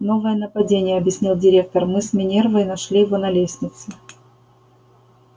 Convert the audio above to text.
новое нападение объяснил директор мы с минервой нашли его на лестнице